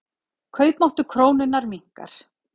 Kaupmáttur krónunnar minnkar.